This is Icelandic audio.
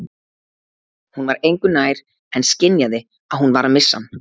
Hún var engu nær en skynjaði að hún var að missa hann.